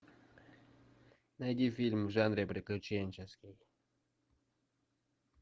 найди фильм в жанре приключенческий